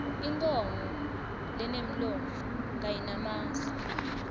inkhomo lenemlomo kayinamasi